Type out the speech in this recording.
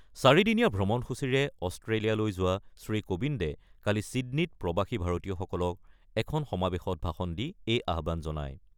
চাৰিদিনীয়া ভ্ৰমণসূচীৰে অষ্ট্ৰেলিয়ালৈ যোৱা শ্ৰীকোবিন্দে কালি ছীডনীত প্ৰৱাসী ভাৰতীয়সকলৰ এখন সমাৱেশত ভাষণ দি এই আহ্বান জনায়।